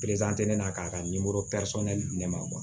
ne na k'a ka di ne ma